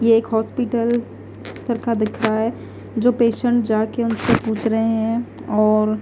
ये एक हॉस्पिटल चरका दिखाएं जो पेशेंट जाकर उनसे पूछ रहे हैं और--